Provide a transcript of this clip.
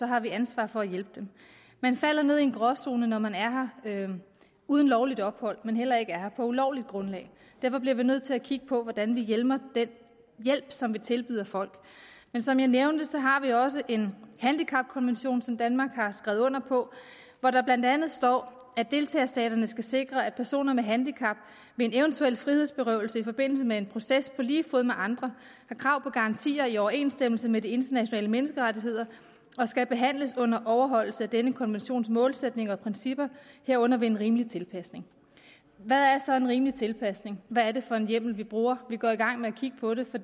har vi ansvar for at hjælpe dem man falder ned i en gråzone når man er her uden lovligt ophold men heller ikke er her på ulovligt grundlag derfor bliver vi nødt til at kigge på hvordan vi hjemler den hjælp som vi tilbyder folk men som jeg nævnte har vi også en handicapkonvention som danmark har skrevet under på hvor der blandt andet står at deltagerstaterne skal sikre at personer med handicap ved en eventuel frihedsberøvelse i forbindelse med en proces på lige fod med andre har krav på garantier i overensstemmelse med de internationale menneskerettigheder og skal behandles under overholdelse af denne konventions målsætninger og principper herunder ved en rimelig tilpasning hvad er så en rimelig tilpasning hvad er det for en hjemmel vi bruger vi går i gang med at kigge på det for